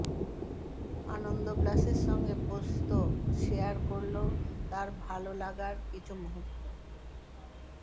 আনন্দ প্লাসের সঙ্গে পোস্ত শেয়ার করল তার ভাল লাগার কিছু মুহূর্ত